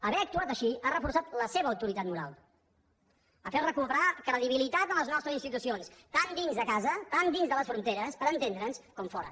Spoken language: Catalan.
haver actuat així ha reforçat la seva autoritat moral ha fet recuperar credibilitat en les nostres institucions tant dins de casa tant dins de les fronteres per entendre’ns com fora